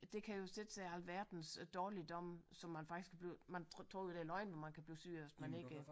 Det kan jo sætte sig i alverdens dårligdomme som man faktisk kan blive man tror jo det er løgn at man kan blive syg af hvis man ikke